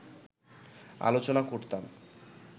আলোচনা করতাম